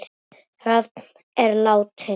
Rafn er látinn.